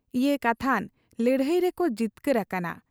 ᱤᱭᱟᱹ ᱠᱟᱛᱷᱟᱱ ᱞᱟᱹᱲᱦᱟᱹᱭ ᱨᱮᱠᱚ ᱡᱤᱛᱠᱟᱹᱨ ᱟᱠᱟᱱᱟ ᱾